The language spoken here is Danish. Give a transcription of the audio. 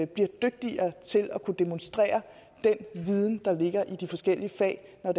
bliver dygtigere til at kunne demonstrere den viden der ligger i de forskellige fag når